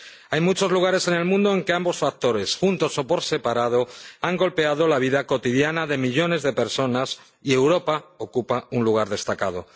Hay muchos lugares en el mundo en que ambos factores, juntos o por separado, han golpeado la vida cotidiana de millones de personas, y Europa ocupa un lugar destacado.